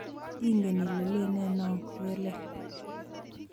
ingen ile leene noo ko ke lel